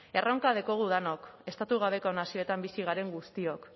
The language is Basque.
erronka daukagu denok estatu gabeko nazioetan bizi garen guztiok